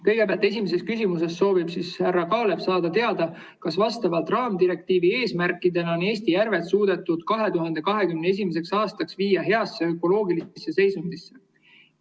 Kõigepealt, esimeses küsimuses soovib härra Kaalep saada teada, kas vastavalt raamdirektiivi eesmärkidele on Eesti järved suudetud 2021. aastaks viia heasse ökoloogilisse seisundisse.